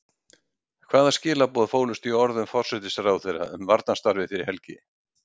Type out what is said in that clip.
Hvaða skilaboð fólust í orðum forsætisráðherra um varnarsamstarfið fyrir helgi?